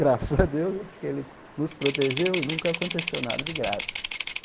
Graças a Deus, acho que ele nos protegeu e nunca aconteceu nada de grave.